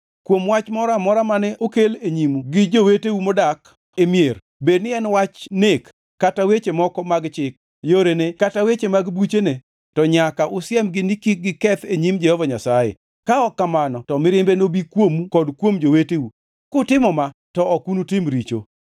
Kuom wach moro amora mane okel e nyimu gi joweteu modak e mier, bedni en wach nek kata weche moko mag chik, yorene kata weche mag buchene to nyaka usiemgi ni kik giketh e nyim Jehova Nyasaye, ka ok kamano to mirimbe nobi kuomu kod kuom joweteu. Kutimo ma, to ok unutim richo.